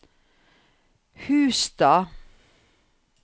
Hustad